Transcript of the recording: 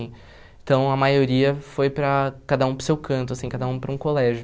Então, a maioria foi para cada um para o seu canto assim, cada um para um colégio.